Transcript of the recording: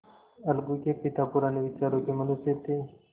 अलगू के पिता पुराने विचारों के मनुष्य थे